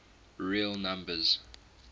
real numbers